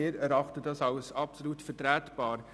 Wir erachten sie als absolut vertretbar.